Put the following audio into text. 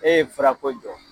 E ye fura ko jɔ